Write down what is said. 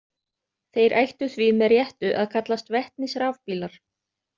Þeir ættu því með réttu að kallast vetnisrafbílar.